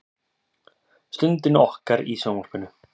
Stundinni okkar í sjónvarpinu.